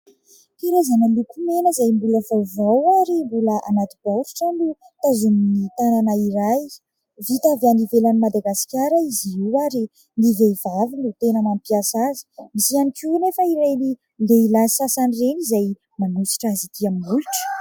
Karazana lokomena izay mbola vaovao ary mbola anaty baoritra no tazomin'ny tanana iray. Vita avy any ivelan'ny Madagasikara izy io ary ny vehivavy no tena mampiasa azy. Nisy ihany koa anefa ireny lehilahy sasany ireny izay manosotra azy ity amin'ny molotra.